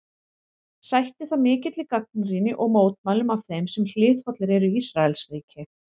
Sætti það mikilli gagnrýni og mótmælum af þeim sem hliðhollir eru Ísraelsríki.